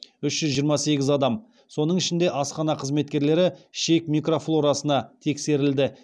үш жүз жиырма сегіз адам соның ішінде асхана қызметкерлері ішек микрофлорасына тексерілді